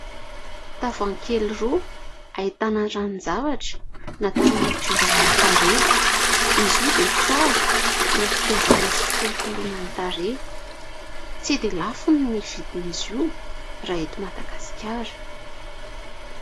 Tavoahangy kely roa ahitana ranon-javatra natao hanadiovana ny tarehy. Izy io dia tsara ho fitaizana sy fikolokoloina ny tarehy. Tsy dia lafo ny vidin'izy io raha eto Madagasikara.